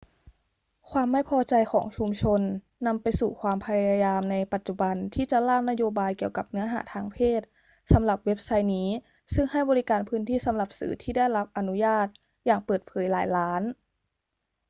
ความไม่พอใจของชุมชนนำไปสู่ความพยายามในปัจจุบันที่จะร่างนโยบายเกี่ยวกับเนื้อหาทางเพศสำหรับเว็บไซต์นี้ซึ่งให้บริการพื้นที่สำหรับสื่อที่ได้รับอนุญาตอย่างเปิดเผยหลายล้าน